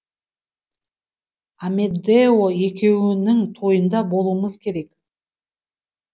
амедео екеуіңнің тойында болуымыз керек